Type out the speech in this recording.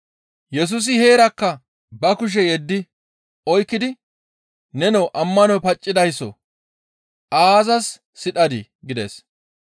Yesusi heerakka ba kushe yeddi oykkidi, «Nenoo, ammanoy paccidayssoo! Aazas sidhadii?» gides.